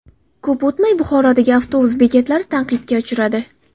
Ko‘p o‘tmay Buxorodagi avtobus bekatlari tanqidga uchradi .